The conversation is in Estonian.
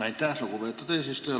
Aitäh, lugupeetud eesistuja!